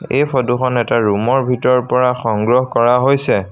এই ফটো খন এটা ৰুম ৰ ভিতৰৰ পৰা সংগ্ৰহ কৰা হৈছে।